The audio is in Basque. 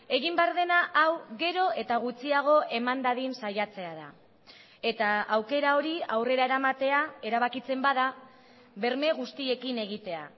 egin behar dena hau gero eta gutxiago eman dadin saiatzea da eta aukera hori aurrera eramatea erabakitzen bada berme guztiekin egitea